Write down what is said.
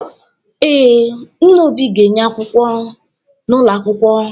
Ee, Nna Obi ga-enye akwụkwọ n’ụlọ akwụkwọ